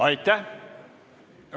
Aitäh!